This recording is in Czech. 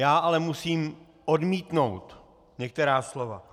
Já ale musím odmítnout některá slova.